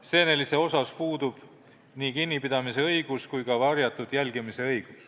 Seenelist ei tohi ei kinni pidada ega ka varjatult jälgida.